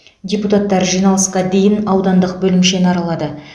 депутаттар жиналысқа дейін аудандық бөлімшені аралады